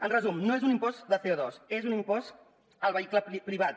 en resum no és un impost de co2 és un impost al vehicle privat